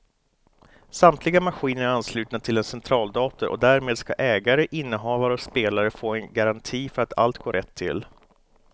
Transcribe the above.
Samtliga maskiner är anslutna till en centraldator och därmed ska ägare, innehavare och spelare få en garanti för att allt går rätt till.